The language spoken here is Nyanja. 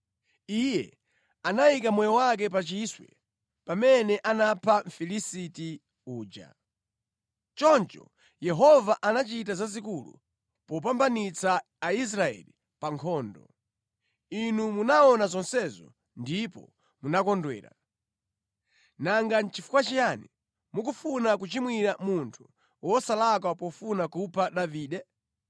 Iye anayika moyo wake pa chiswe pamene anapha Mfilisiti uja. Choncho Yehova anachita zazikulu popambanitsa Aisraeli pa nkhondo. Inu munaona zonsezo ndipo munakondwera. Nanga nʼchifukwa chiyani mukufuna kuchimwira munthu wosalakwa pofuna kupha Davide?”